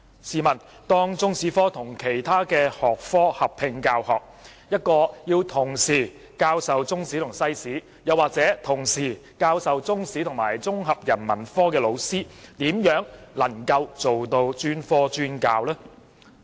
試問當中史科與其他學科合併教學，一位要同時教授中史和西史，或同時教授中史及綜合人文科的老師，怎能夠做到專科專教呢？